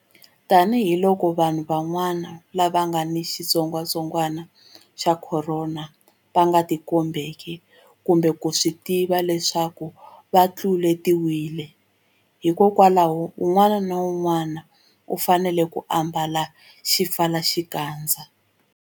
Tanihiloko vanhu van'wana lava nga ni xitsongwantsongwana xa Khorona va nga tikombeki kumbe ku swi tiva leswaku va tluletiwile, hikwalaho un'wana na un'wana u fanele ku ambala xipfalaxikandza.